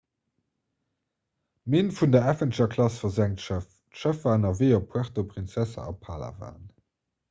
minn vun der avenger-klass versenkt schëff d'schëff war ënnerwee op puerto princesa a palawan